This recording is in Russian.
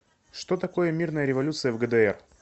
что такое мирная революция в гдр